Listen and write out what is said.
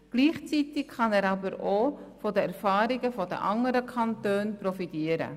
Gleichzeitig kann er aber auch von den Erfahrungen der anderen Kantone profitieren.